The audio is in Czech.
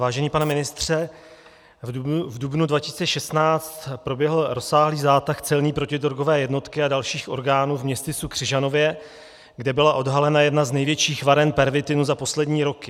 Vážený pane ministře, v dubnu 2016 proběhl rozsáhlý zátah celní protidrogové jednotky a dalších orgánů v městysu Křižanově, kde byla odhalena jedna z největších varen pervitinu za poslední roky.